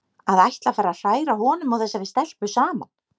Að ætla að fara að hræra honum og þessari stelpu saman!